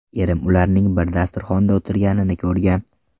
Erim ularning bir dasturxonda o‘tirganini ko‘rgan.